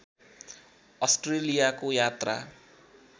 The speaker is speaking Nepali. अस्ट्रेलियाको यात्रा